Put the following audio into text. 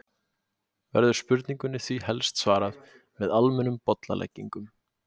Verður spurningunni því helst svarað með almennum bollaleggingum.